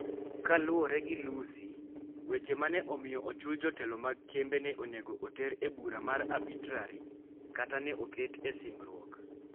Kaluwore gi Lusi, weche ma ne omiyo ochul jotelo mag kembe ne onego oter e bura mar arbitraj kaka ne oket e singruok.